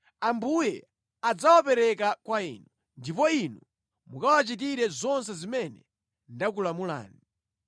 Ambuye adzawapereka kwa inu, ndipo inu mukawachitire zonse zimene ndakulamulani.